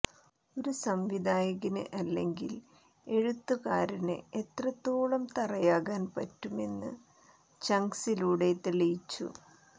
ഒരു സംവിധായകന് അല്ലെങ്കിൽ എഴുത്തുകാരന് എത്രത്തോളം തറയാകാൻ പറ്റുമെന്ന് ചങ്ക്സിലൂടെ തെളിയിച്ചു